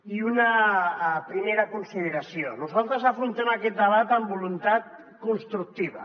i una primera consideració nosaltres afrontem aquest debat amb voluntat constructiva